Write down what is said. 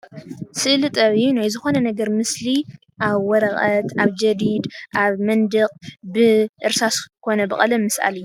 ስእሊ ጥበብ እዩ፡፡ ናይ ዝኾነ ነገር ምስሊ ኣብ ወረቐት፣ ኣብ ጀዲድ፣ ኣብ መንድቕ ብእርሳስ ኮነ ብቐለም ምስኣል እዩ፡፡